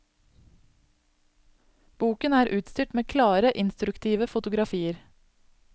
Boken er utstyrt med klare, instruktive fotografier.